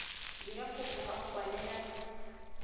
dira kopo ka go kwalela